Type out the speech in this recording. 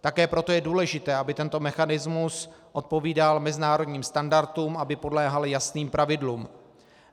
Také proto je důležité, aby tento mechanismus odpovídal mezinárodním standardům, aby podléhal jasným pravidlům.